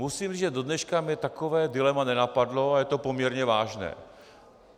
Musím říct, že do dneška mě takové dilema nenapadlo a je to poměrně vážné.